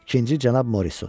İkinci Cənab Morissot.